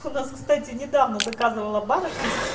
у нас кстати недавно заказывала барышня с